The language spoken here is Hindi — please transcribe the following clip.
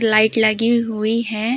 लाइट लगी हुई हैं।